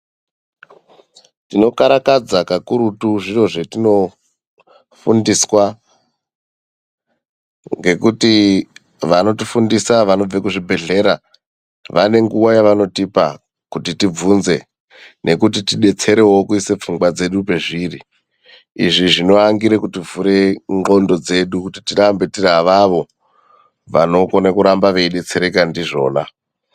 Tinokarakadza kakurutu zviro zvetinofundiswa, ngekuti vanotifundisa vanobve kuzvibhedhlera vanenguva yavanotipa kuti tibvunze nekuti tidetserewo tiisewo pfungwa dzedu pezviri izvi zvinoangira kutivhura nqondo dzedu kuti tirambe tiri avavo vanokone kuramba veidetsereka ndizvona.